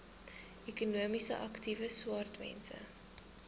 ekonomies aktiewe swartmense